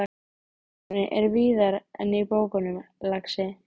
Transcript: Lærdómurinn er víðar en í bókunum, lagsi.